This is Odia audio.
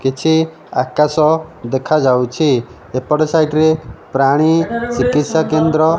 କିଛି ଆକାଶ ଦେଖାଯାଉଛି ଏପଟ ସାଇଟ ରେ ପ୍ରାଣୀ ଚିକିତ୍ସା କେନ୍ଦ୍ର --